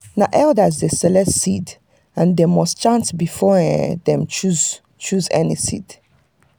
na elders dey select seed and them must chant before them choose choose any seed.